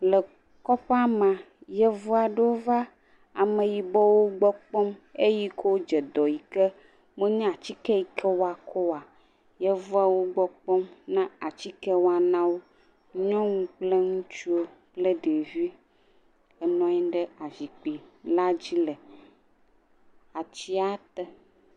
Le kɔƒea mea, yevu aɖewo va ameyibɔwo gbɔ kpɔm le ayi ke womenya atike si woatsɔ ada dɔe o, Yevua wo gbɔ kpɔm le atike wɔm na wo, nyɔnu kple ŋutsuwo kple ɖevi enɔ anyi ɖe zikpui la dzi le atia te.